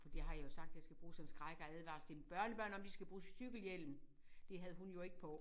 For det har jeg jo sagt jeg skal bruge som skræk og advarsel til mine børnebørn om at de skal bruge cykelhjelm! Det havde hun jo ikke på